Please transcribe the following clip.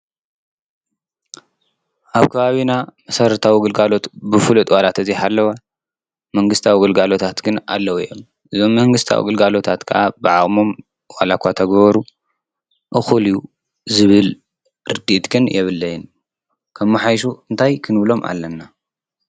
ኣብ ከባቢና መሰረታዊ ግልጋሎት ብፍሉጥ ዋላ እንተዘይሃለወ መንግሥታዊ ግልጋሎታት ግን ኣለዉ እዮም። እዝ መንግሥቲዊ ግልጋሎታት ከዓ ብዓቅሞም ዋላኳ ተገበሩ እኹል እዩ ዝብል ርዲት ግን የብለይን። ከመሓይሹ እንታይ ክንብሎም ኣለና?